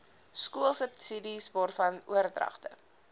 skoolsubsidies waarvan oordragte